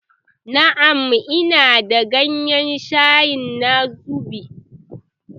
Na'am, ina da gayen shayi na zobo